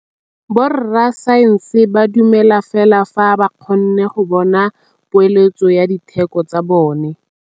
Borra saense ba dumela fela fa ba kgonne go bona poeletsô ya diteko tsa bone.